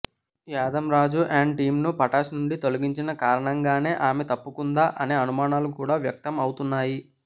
Yadamma Raju and టీంను పటాస్ నుండి తొలగించిన కారణంగానే ఆమె తప్పుకుందా అనే అనుమానాలు కూడా వ్యక్తం అవుతున్నాయి